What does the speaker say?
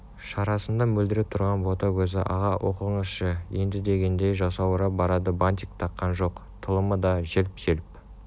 шарасында мөлдіреп тұрған бота көзі аға оқыңызшы ендідегендей жасаурап барады бантик таққан шоқ тұлымы да желп-желп